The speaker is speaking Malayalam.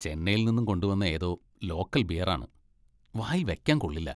ചെന്നൈയിൽ നിന്നും കൊണ്ടുവന്ന ഏതോ ലോക്കൽ ബിയർ ആണ്, വായിൽ വെക്കാൻ കൊള്ളില്ല.